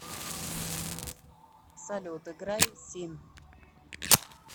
салют играй син